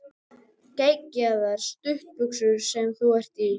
Geggjaðar stuttbuxur sem þú ert í!